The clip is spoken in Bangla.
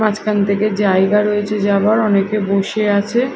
মাঝখান থেকে জায়গা রয়েছে যাওয়ার অনেকে বসে আছে।